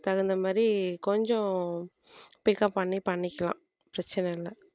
தகுந்த மாதிரி கொஞ்சம் pickup பண்ணி பண்ணிக்கலாம் பிரச்சனை இல்லை